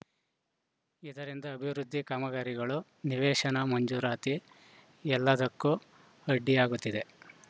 ಇದರಿಂದ ಅಭಿವೃದ್ಧಿ ಕಾಮಗಾರಿಗಳು ನಿವೇಶನ ಮಂಜೂರಾತಿ ಎಲ್ಲದಕ್ಕೂ ಅಡ್ಡಿಯಾಗುತ್ತಿದೆ